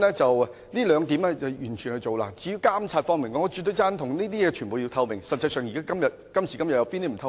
至於監察方面，我絕對贊同必須要具透明度，今時今日實際上有甚麼不透明呢？